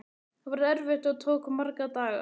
Það var erfitt og tók marga daga.